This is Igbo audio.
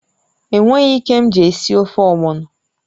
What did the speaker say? È nweghị ike mji esi ofe ogbọno